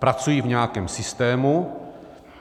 Pracují v nějakém systému.